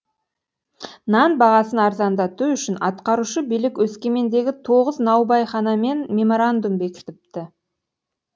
нан бағасын арзандату үшін атқарушы билік өскемендегі тоғыз наубайханамен меморандум бекітіпті